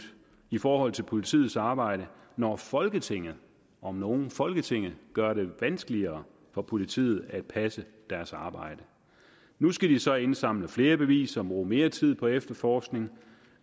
i forhold til politiets arbejde når folketinget om nogen folketinget gør det vanskeligere for politiet at passe deres arbejde nu skal de så indsamle flere beviser bruge mere tid på efterforskning